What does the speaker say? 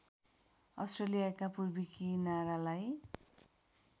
अस्ट्रेलियाका पूर्वी किनारालाई